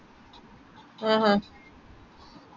ഓ ശെരി ശെരി